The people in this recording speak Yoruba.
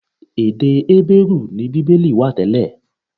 Èdè Hébérù ni Bíbélì wà tẹ́lẹ̀.